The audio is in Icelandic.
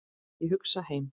Ég hugsa heim.